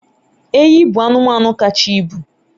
enyi bụ anụmanụ kacha ibu